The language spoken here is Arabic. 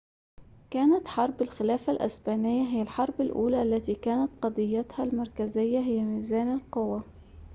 كانت حرب الخلافة الإسبانية هي الحرب الأولى التي كانت قضيتها المركزية هي ميزان القوى